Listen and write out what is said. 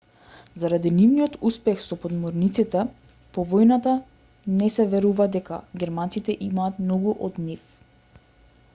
заради нивниот успех со подморниците по војната не се верува дека германците имаат многу од нив